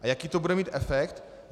A jaký to bude mít efekt?